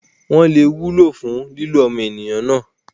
wọ́n lè wúlò fún lílò ọmọnìyàn náà.